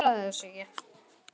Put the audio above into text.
Hún svaraði þessu ekki.